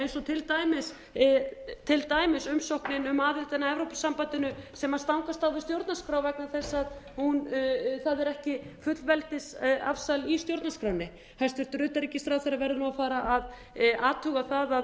eins og til dæmis umsóknin um aðildina að evrópusambandinu sem stangast á við stjórnarskrá vegna þess að það er ekki fullveldisafsal í stjórnarskránni hæstvirts utanríkisráðherra verður nú að fara að athuga það að hann